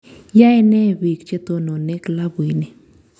Yae ne biik che tonone klabuini